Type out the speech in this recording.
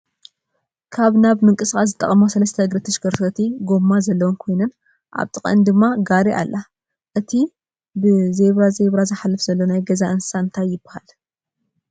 ካብ ናብ ንምንቅስቃስ ዝጠቅማ ሰለስተ እግሪ ተሽከርካሪ ጎማ ዘለወን ኮይነን ኣብ ጥቃእን ድማ ጋሪ ኣላ። እቲ ብዚብዚብራ ዝሓልፍ ዘሎ ናይ ገዛ እንሰሰ እንታይ ይባሃል?